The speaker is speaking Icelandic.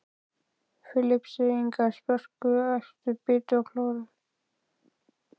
Filippseyingar, spörkuðu, æptu, bitu og klóruðu.